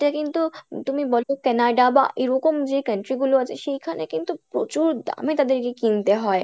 কিন্তু তুমি বলো Canada বা এরকম যে country গুলো আছে সেই খানে কিন্তু প্রচুর দামে তাদের কে কিনতে হয়